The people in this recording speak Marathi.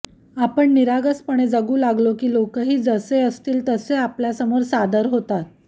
आपण निरागसपणे जगु लागलो की लोकंही जसे असतील तसे आपल्यासमोर सादर होतात